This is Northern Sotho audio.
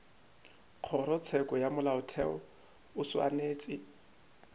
kgorotsheko ya molaotheo o swanetše